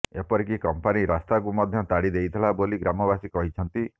ଏପରିକି କମ୍ପାନୀ ରାସ୍ତାକୁ ମଧ୍ୟ ତାଡି ଦେଇଥିଲା ବୋଲି ଗ୍ରାମବାସୀ କହିଛନ୍ତିି